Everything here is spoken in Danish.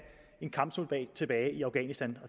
en kampsoldat tilbage i afghanistan